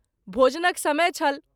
भोजनक समय छल।